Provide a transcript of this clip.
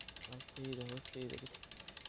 Alabteydhan hoosteydha diig.